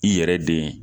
I yɛrɛ den